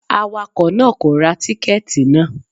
Awakọ̀ náà kò ra tíkẹ́tì náà.